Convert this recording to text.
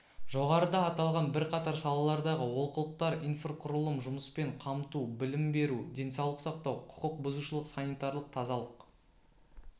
жоғарыда аталған бірқатар салалардағы олқылықтар инфрқұрылым жұмыспен қамту білім беру денсаулық сақтау құқық бұзушылық санитарлық тазалық